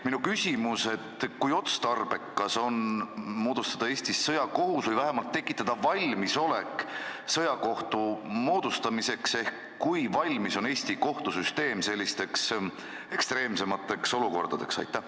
Minu küsimus: kui otstarbekas on moodustada Eestis sõjakohus või vähemalt tekitada valmisolek sõjakohtu moodustamiseks ehk kui valmis on Eesti kohtusüsteem sellisteks ekstreemsemateks olukordadeks?